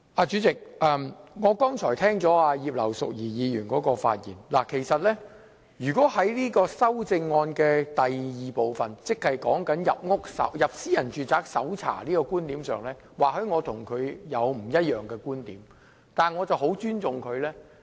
主席，我剛才聽到葉劉淑儀議員發言，其實以第二組修正案來說，即執法人員可進入私人住宅搜證的觀點上，或許我與她有不一樣的觀點，但我十分尊重她。